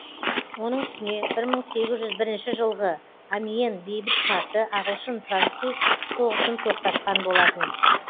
оның үстіне бір мың сегіз жүз бірінші жылғы амьен бейбіт шарты ағылшын француз соғысын тоқтатқан болатын